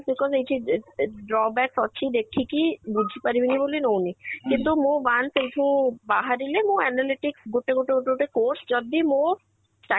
because ଏଇଠି drawbacks ଅଛି ଦେଖିକି ବୁଝି ପାରିବିନି ବୋଲି ନଉନି ଅବେରଳା କିନ୍ତୁ ମୁଁ once ସେଇଠୁ ବାହାରିଲେ ମୁଁ analytics ଗୋଟେ ଗୋଟେ ଗୋଟେ ଗୋଟେ course ଯଦି ମୋ ଚା